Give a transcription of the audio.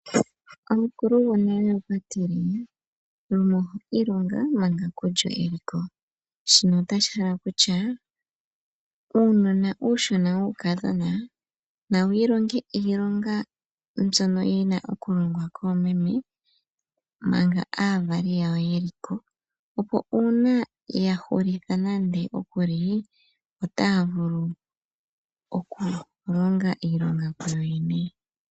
Omukulu gwonale okwatile " lumoho ilonga manga kulyo shino otashi hala okutya uunona wookudhona nawu ilonge iilonga mbyono yina okuningwa koomeme manga aavali yawo yeliko opo uuna yahulitha nande otaya vulu okulonga iilonga kuyoyene.